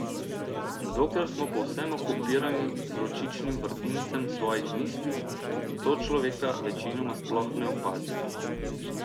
Dokler smo povsem okupirani z vročičnim vrtincem svojih misli, sočloveka večinoma sploh ne opazimo.